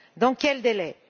Dans quels délais?